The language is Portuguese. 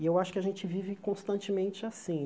E eu acho que a gente vive constantemente assim.